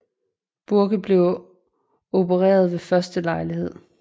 Bourke blev opereret ved første lejlighed